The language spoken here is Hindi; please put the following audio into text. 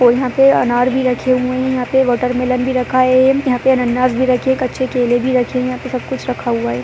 और यहाँ पे अनार भी रखे हुए हैं। यहाँ पे वाटरमेलन भी रखा है। यहाँ पे अनानास भी रखे हैं। कच्चे केले भी रखे हैं। यहाँ पे सब कुछ रखा हुआ है।